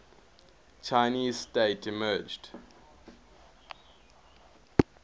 chinese state emerged